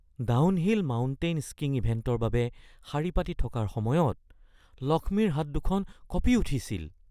downhill mountain skiing ইভেণ্টৰ বাবে শাৰী পাতি থকাৰ সময়ত লক্ষ্মীৰ হাত দুখন কঁপি উঠিছিল